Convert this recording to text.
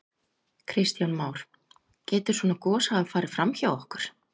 Kristján Már: Getur svona gos hafa farið fram hjá okkur?